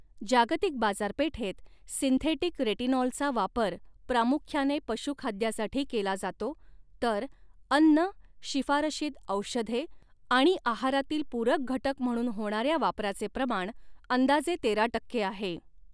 जागतिक बाजारपेठेत सिंथेटिक रेटिनॉलचा वापर प्रामुख्याने पशुखाद्यासाठी केला जातो, तर अन्न, शिफारशीत औषधे आणि आहारातील पूरक घटक म्हणून होणाऱ्या वापराचे प्रमाण अंदाजे तेरा टक्के आहे.